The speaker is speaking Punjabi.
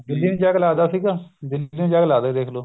ਦਿੱਲੀ ਨੂੰ ਜਾ ਕੇ ਲੱਗਦਾ ਸੀਗਾ ਦਿੱਲੀ ਨੂੰ ਜਾ ਕੇ ਲੱਗਦਾ ਸੀ ਦੇਖ ਲੋ